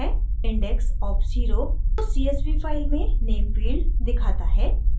index of zero उस csv file में name field दिखाता है